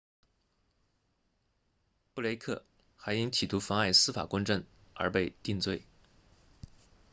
布雷克 blake 还因企图妨碍司法公正而被定罪